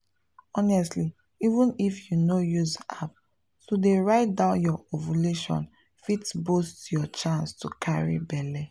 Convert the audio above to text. honestly even if you no use app to dey write down your ovulation fit boost your chance to carry belle.